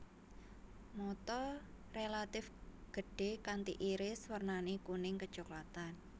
Mata relatif gedhé kanti iris wernané kuning kecoklatan